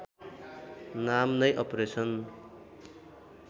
नाम नै अपरेसन